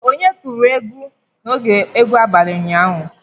Onye gụrụ egwu n'oge egwu abalị ụnyaahụ?